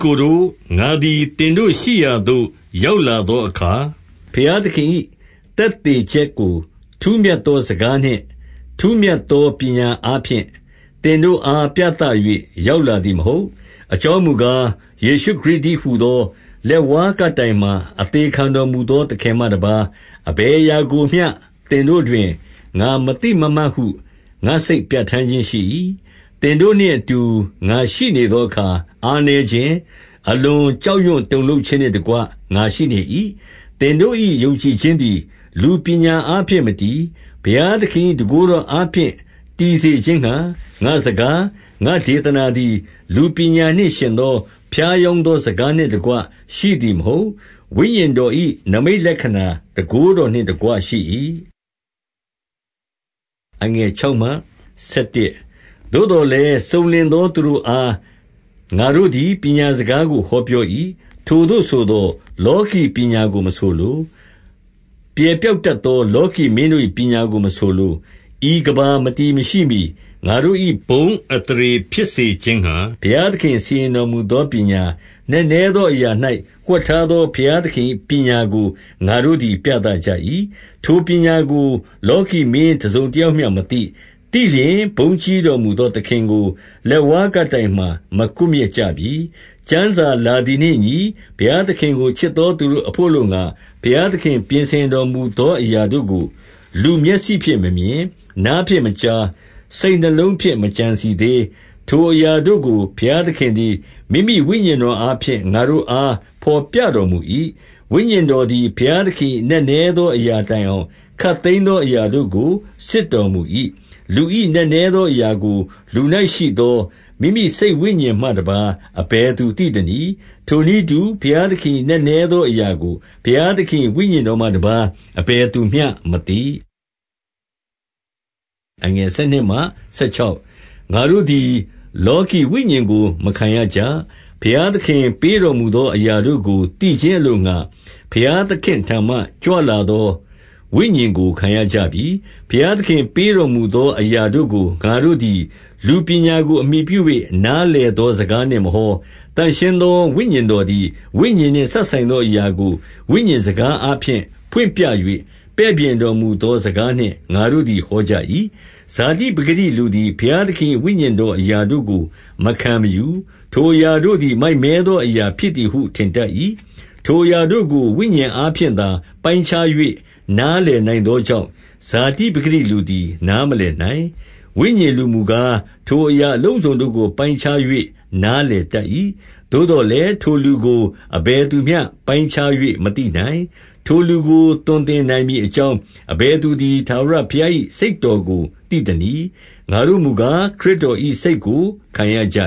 ကိုတို့၊ ငါသည်သင်တို့ရှိရာသို့ ရောက်လာသောအခါ၊ ဘုရားသခင်၏ သက်သေချက်ကို ထူးမြတ်သောစကားနှင့် ထူးမြတ်သော ပညာအားဖြင့် သင်တို့အား ပြသ၍ ရောက်လာသည်မဟုတ်။ 2 အကြောင်းမူကား၊ ယေရှုခရစ်တည်းဟူသော လက်ဝါးကပ်တိုင်မှာ အသေခံတော်မူသော သခင်မှတပါး၊ အဘယ်အရာကိုမျှ သင်တို့တွင် ငါမသိမမှတ်ဟု ငါစိတ် ပြဋ္ဌာန်းခြင်းရှိ၏။ 3 သင်တို့နှင့်အတူ ငါရှိနေသောအခါ၊ အားနည်းခြင်း၊ အလွန်ကြောက်ရွံ့တုန်လှုပ်ခြင်းနှင့်တကွ ငါရှိနေ၏။ 4 သင်တို့၏ယုံကြည်ခြင်းသည် လူပညာအားဖြင့် မတည်၊ 5 ဘုရားသခင်၏ တန်ခိုးတော်အားဖြင့် တည်စေ ခြင်းငှါ၊ ငါ့စကား၊ ငါ့ဒေသနာသည် လူပညာနှင့် ယှဉ်သောဖြားယောင်းသောစကားနှင့်တကွ ရှိသည် မဟုတ်။ ဝိညာဉ်တော်၏နိမိတ်လက္ခဏာ တန်ခိုးတော်နှင့် တကွ ရှိ၏။ 6 သို့သော်လည်း၊ စုံလင်သော သူတို့အား ငါတို့သည် ပညာစကားကို ဟောပြော၏။ ထိုသို့ဆိုသော်၊ လောကီပညာကို မဆိုလို။ ပြယ်ပျောက် တတ်သော လောကီမင်းတို့၏ ပညာကိုမဆိုလို။ 7 ဤကမ္ဘာမတည်မရှိမှီ၊ ငါတို့၏ ဘုန်းအသရေ ဖြစ်စေခြင်းငှါ၊ ဘုရားသခင်စီရင်တော်မူသော ပညာ၊ နက်နဲသောအရာ၌ ဝှက်ထားသော ဘုရားသခင်၏ ပညာကို ငါတို့သည်ပြသကြ၏။ 8 ထိုပညာကို လောကီမင်းတစုံတယောက်မျှမသိ။ သိလျှင်၊ ဘုန်းကြီးတော်မူသောသခင်ကို လက်ဝါးကပ် တိုင်မှာ မကွပ်မျက်ကြပြီ။ 9 ကျမ်းစာလာသည်နှင့်အညီ၊ ဘုရားသခင်ကို ချစ်သော သူတို့အဘို့အလိုငှါ၊ ဘုရားသခင်ပြင်ဆင်တော် မူသော အရာတို့ကို လူမျက်စိဖြင့်မမြင်၊ နားဖြင့်မကြား၊ စိတ်နှလုံးဖြင့် မကြံစည်သေး။ 10 ထိုအရာတို့ကို ဘုရားသခင်သည် မိမိဝိညာဉ်တော်အားဖြင့် ငါတို့အားဘော်ပြတော်မူ၏။ ဝိညာဉ်တော် သည် ဘုရားသခင်၏ နက်နဲသော အရာတိုင်အောင် ခပ်သိမ်းသော အရာတို့ကိုစစ်တော်မူ၏။ 11 လူ၏နက်နဲသော အရာကို လူ၌ရှိသော မိမိစိတ် ဝိညာဉ်မှတပါး အဘယ်သူသိသနည်း။ ထိုနည်းတူ ဘုရားသခင်၏ နက်နဲသောအရာကို ဘုရားသခင်၏ ဝိညာဉ်တော်မှ တပါးအဘယ်သူမျှမသိ။ 12 ငါတို့သည် လောကီဝိညာဉ်ကို မခံရကြ။ ဘုရားသခင်ပေးတော်မူသော အရာတို့ကို သိခြင်းအလိုငှါ ဘုရားသခင်ထံမှ ကြွလာသော ဝိညာဉ်ကိုခံရကြပြီ။ 13 ဘုရားသခင်ပေးတော်မူသော အရာတို့ကို ငါတို့သည် လူပညာကိုအမှီပြု၍ နားလည်သောစကားနှင့် မဟော။ သန့်ရှင်းသော ဝိညာဉ်တော်သည် ဝိညာဉ်နှင့် စပ်ဆိုင်သော အရာကို ဝိညာဉ်စကားအားဖြင့် ဖွင့်ပြ၍ ပဲ့ပြင်တော်မူသော စကားနှင့် ငါတို့သည် ဟောကြ၏။ 14 ဇာတိပကတိလူသည် ဘုရားသခင်၏ ဝိညာဉ်တော်အရာတို့ကို မခံမယူ။ ထိုအရာတို့သည် မိုက်မဲသော အရာဖြစ်သည်ဟု ထင်တတ်၏။ ထိုအရာတို့ကို ဝိညာဉ် အားဖြင့်သာ ပိုင်းခြား၍နားလည်နိုင်သောကြောင့်၊ ဇာတိပကတိလူသည် နားမလည်နိုင်။ 15 ဝိညာဉ်လူမူကား၊ ထိုအရာအလုံးစုံတို့ကို ပိုင်းခြား၍ နားလည်တတ်၏။ သို့သော်လည်း ထိုလူကို အဘယ်သူမျှ ပိုင်းခြား၍ မသိနိုင်။ 16 ထိုလူကို သွန်သင်နိုင်မည်အကြောင်း အဘယ် သူသည် ထာဝရဘုရား၏ စိတ်တော်ကို သိသနည်း။ ငါတို့မူကား ခရစ်တော်၏စိတ်ကို ခံရကြ